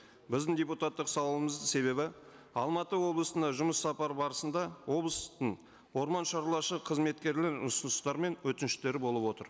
біздің депутаттық сауалымыздың себебі алматы облысына жұмыс сапары барысында облыстың қызметкерлері ұсыныстары мен өтініштері болып отыр